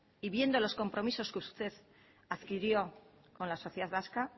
y viendo los compromisos que usted adquirió con la sociedad vasca